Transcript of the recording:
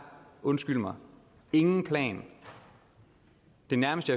undskyld mig ingen plan det nærmeste